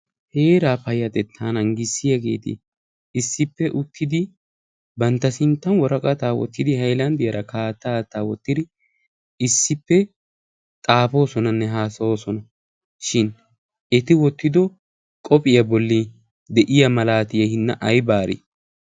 heeraa payyattetta nangissiyaageti issippe uttidi bantta sinttan woraqataa wootidi haylaandiyaara haattaa woottidi issippe xaafoosonanne hasayoosona. shin eti wottido qophiyaa bolli de'iyaa maalatiyaa hina aybaarii?